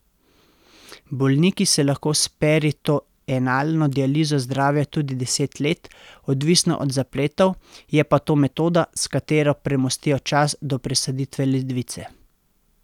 Bolniki se lahko s peritoenalno dializo zdravijo tudi deset let, odvisno od zapletov, je pa to metoda, s katero premostijo čas do presaditve ledvice.